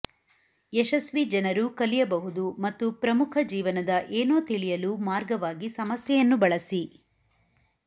ಯಶಸ್ವಿ ಜನರು ಕಲಿಯಬಹುದು ಮತ್ತು ಪ್ರಮುಖ ಜೀವನದ ಏನೋ ತಿಳಿಯಲು ಮಾರ್ಗವಾಗಿ ಸಮಸ್ಯೆಯನ್ನು ಬಳಸಿ